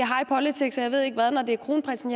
high politics og jeg ved ikke hvad når det er kronprinsen